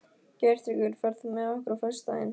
Geirtryggur, ferð þú með okkur á föstudaginn?